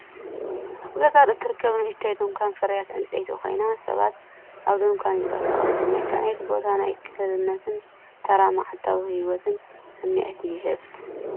ኣብ ገጠር እትርከብ ንእሽቶ ድኳን ፍርያት ዕንጨይቲ ኮይና፡ ሰባት ኣብቲ ድኳን ይንቀሳቐሱ። መልክዕ ናይቲ ቦታ ናይ ቅልልነትን ተራ መዓልታዊ ህይወትን ስምዒት ይህብ።